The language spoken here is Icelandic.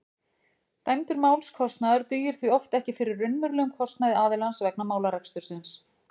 dæmdur málskostnaður dugir því oft ekki fyrir raunverulegum kostnaði aðilans vegna málarekstursins